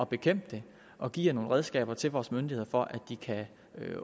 bekæmpe det og giver nogle redskaber til vores myndigheder for at de kan